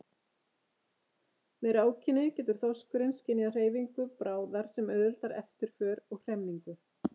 Með rákinni getur þorskurinn skynjað hreyfingu bráðar sem auðveldar eftirför og hremmingu.